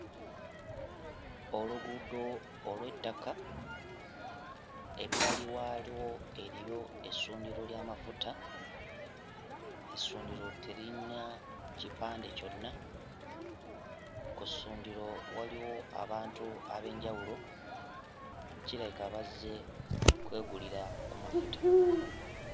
Oluguudo olw'ettaka. Ebbali waalwo eriyo essundiro ly'amafuta; essundiro teririna kipande kyonna. Ku ssundiro waliwo abantu ab'enjawulo, kirabika bazze kwegulira ku mafuta.